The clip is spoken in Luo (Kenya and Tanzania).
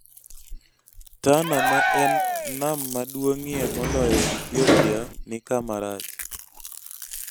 Tana ma en nam maduong'ie moloyo e Ethiopia nikama rach